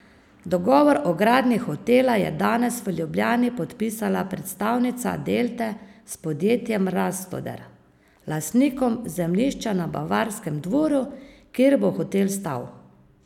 Dogovor o gradnji hotela je danes v Ljubljani podpisala predstavnica Delte s podjetjem Rastoder, lastnikom zemljišča na Bavarskem dvoru, kjer bo hotel stal.